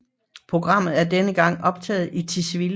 Programmet er denne gang optaget i Tisvilde